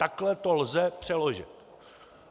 Takhle to lze přeložit.